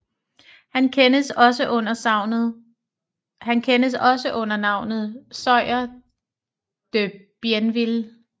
Han kendes også under navnet Sieur de Bienville